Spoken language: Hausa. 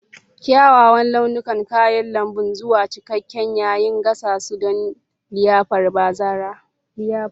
Kyawawan launukan kayan lambu zuwa cikakke yayin gasa su don liyafar bazara.